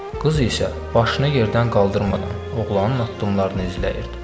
Qız isə başını yerdən qaldırmadan oğlanın addımlarını izləyirdi.